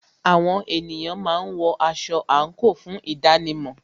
Àwọn ènìyàn máa ń wọ aṣọ àńkò fún ìdánimò